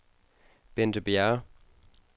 Bente Bjerre